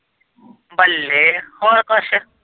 ਬੱਲੇ ਹੋਰ ਕੁੱਛ।